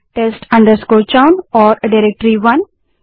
कृपया test chown नाम की खाली डाइरेक्टरीस और डाइरेक्टरी 1 को भी बनाएँ